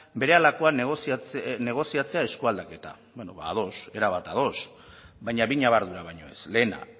berehalakoan negoziatzea eskualdaketa bueno ba ados erabat ados baina bi ñabardura baino ez lehena